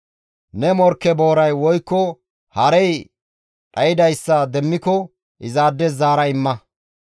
«Ne morkke booray woykko harey dhaydayssa demmiko izaades zaara imma.